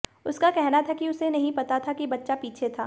उसका कहना था कि उसे नहीं पता था कि बच्चा पीछे था